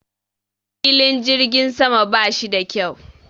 Filin jirgin sama ba shi da kyau